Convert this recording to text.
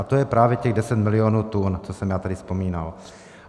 A to je právě těch 10 milionů tun, co jsem já tady vzpomínal.